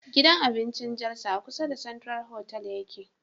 Gidan abincin jalsa a kusa da central hotal yake